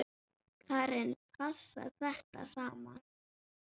Karen: Passar þetta saman?